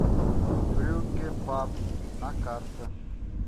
брюгге паб на карте